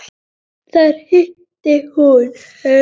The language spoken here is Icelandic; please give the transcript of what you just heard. Þar hitti hún